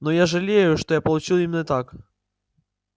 но я жалею что я получил именно так